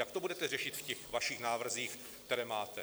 Jak to budete řešit v těch vašich návrzích, které máte?